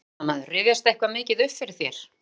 Fréttamaður: Rifjast eitthvað mikið upp fyrir þér?